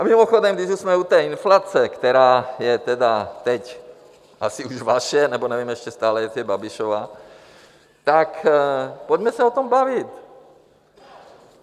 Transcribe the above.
A mimochodem, když už jsme u té inflace, která je tedy teď asi už vaše, nebo nevím ještě stále, jestli je Babišova, tak pojďme se o tom bavit!